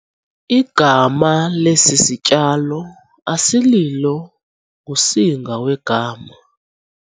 Igama lesi sityalo asililo ngusinga wegama.